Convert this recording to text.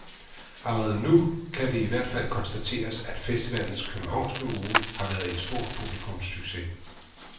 Allerede nu kan det i hvert fald konstateres, at festivalens københavnske uge har været en stor publikumssucces.